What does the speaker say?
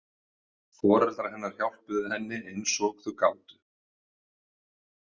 Foreldrar hennar hjálpuðu henni eins og þau gátu.